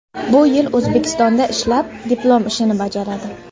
Bu yil O‘zbekistonda ishlab, diplom ishini bajaradi.